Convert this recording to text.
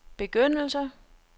begyndelse